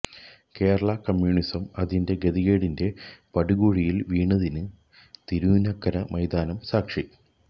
Kerala communism അതിന്റെ ഗതികേടിന്റെ പടുകുഴിയില് വീണതിന് തിരുനക്കര മൈതാനം സാക്ഷി